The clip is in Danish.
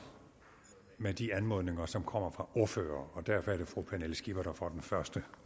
med de anmodninger som kommer fra ordførere derfor er det fru pernille skipper der får den første